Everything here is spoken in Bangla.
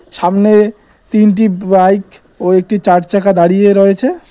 সামনে তিনটি ব বাইক এবং একটি চার চাকা দাঁড়িয়ে রয়েছে।